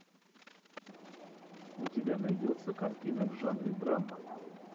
у тебя найдется картина в жанре драма